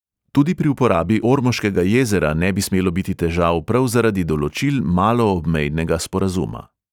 Tudi pri uporabi ormoškega jezera ne bi smelo biti težav prav zaradi določil maloobmejnega sporazuma.